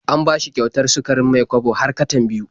An bashi kyautar sukarin Mai-kwabo har katan biyu.